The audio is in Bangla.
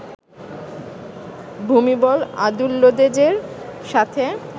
ভুমিবল আদুল্যদেজের সাথে